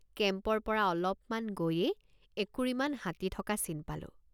কেম্পৰপৰা অলপমান গৈয়েই একুৰিমান হাতী থক৷ চিন পালোঁ।